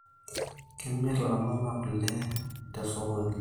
Kemir ilaramatak kule tesokoni